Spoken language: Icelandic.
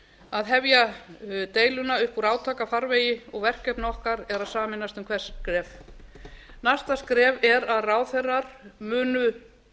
að hefja deiluna upp úr átakafarvegi og verkefni okkar er að sameinast um hvert skref næsta skref er að ráðherrar munu